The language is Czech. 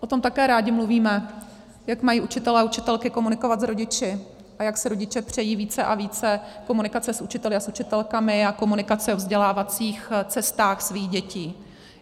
O tom také rádi mluvíme, jak mají učitelé a učitelky komunikovat s rodiči a jak si rodiče přejí více a více komunikace s učiteli a s učitelkami a komunikace o vzdělávacích cestách svých dětí.